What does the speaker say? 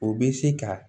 O bɛ se ka